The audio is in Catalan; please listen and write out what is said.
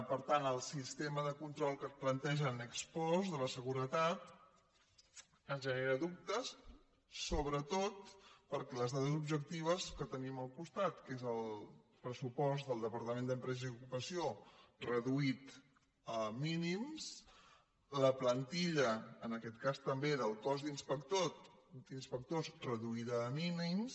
per tant el sistema de control que plantegen ex postde la seguretat ens genera dubtes sobretot perquè les dades objectives que tenim al costat que és el pressupost del departament d’empresa i ocupació reduït a mínims la plantilla en aquest cas també del cos d’inspectors reduïda a mínims